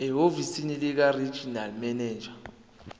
ehhovisi likaregional manager